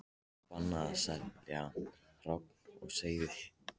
Bannað að selja hrogn og seiði